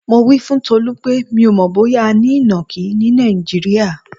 Mo wí fún Tolú pé mi ò mò̩ bóyá a ní ìnàkí ní Nàìjíríà.